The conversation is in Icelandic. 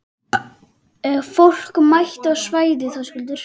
Er fólk mætt á svæðið, Höskuldur?